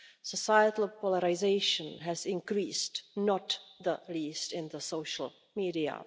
Societal polarisation has increased, not least in the social media.